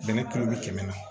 Dɛmɛ kilo bi kɛmɛ